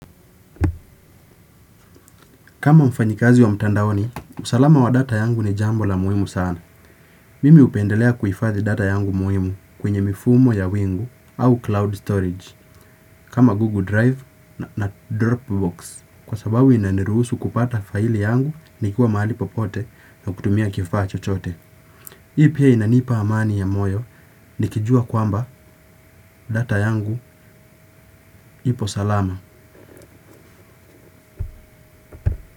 Kama mfanyikazi wa mtandaoni, usalama wa data yangu ni jambo la muhimu sana. Mimi hupendelea kuhifadhi data yangu muhimu kwenye mifumo ya wingu au cloud storage kama Google Drive na Dropbox. Kwa sababu inanirusu kupata faili yangu nikiwa mahali popote na kutumia kifaa cho chochote. Hii pia inanipa amani ya moyo nikijua kwamba data yangu ipo salama.